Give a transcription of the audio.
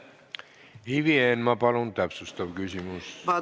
Ivi Eenmaa, palun täpsustav küsimus!